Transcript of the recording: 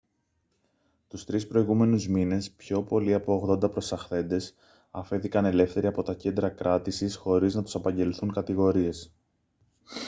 τους 3 προηγούμενους μήνες πιο πολλοί από 80 προσαχθέντες αφέθηκαν ελεύθεροι από τα κέντρα κράτησης χωρίς να τους απαγγελθούν κατηγορίες